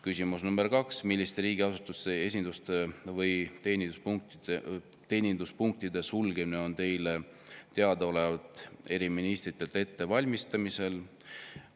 " Küsimus nr 2: "Milliste riigiasutuste esinduste või teeninduspunktide sulgemine on Teile teadaolevalt eri ministeeriumites ette valmistamisel?